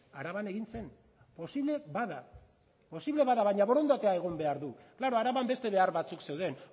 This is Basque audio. araban egin zen posible bada posible bada baina borondatea egon behar du klaro araban beste behar batzuk zeuden